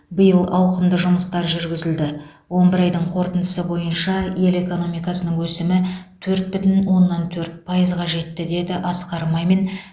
биыл ауқымды жұмыстар жүргізілді он бір айдың қорытындысы бойынша ел экономикасының өсімі төрт бүтін оннан төрт пайызға жетті деп асқар мамин